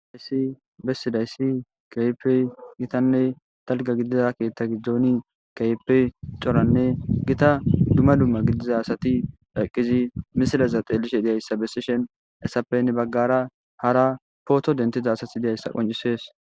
Haysi besizaysi keehippe Gitanne dalga gidida keeta gidoni keehippe coranne Gita dumma dumma gidiza asati ha eqidi misileza xeelishe dizaysa besishn hesappe hen bagara hara poto denthiza asati dizaysa qoncises.